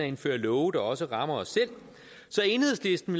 indføre love der også rammer os selv så enhedslisten